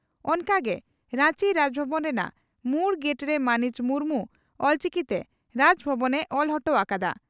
ᱚᱱᱠᱟᱜᱮ ᱨᱟᱧᱪᱤ ᱨᱟᱡᱽᱵᱷᱚᱵᱚᱱ ᱨᱮᱱᱟᱜ ᱢᱩᱲ ᱜᱮᱴᱨᱮ ᱢᱟᱹᱱᱤᱡ ᱢᱩᱨᱢᱩ ᱚᱞᱪᱤᱠᱤᱛᱮ 'ᱨᱟᱡᱽᱵᱷᱚᱵᱚᱱ' ᱮ ᱚᱞ ᱚᱴᱚ ᱟᱠᱟᱫᱼᱟ ᱾